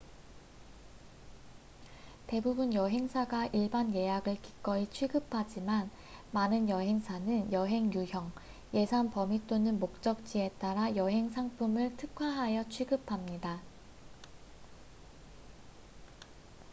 대부분 여행사가 일반 예약을 기꺼이 취급하지만 많은 여행사는 여행 유형 예산 범위 또는 목적지에 따라 여행 상품을 특화하여 취급합니다